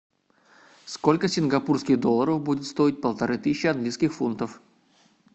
сколько сингапурских долларов будет стоить полторы тысячи английских фунтов